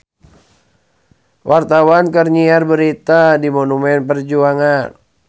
Wartawan keur nyiar berita di Monumen Perjuangan